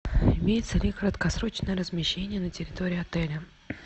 имеется ли краткосрочное размещение на территории отеля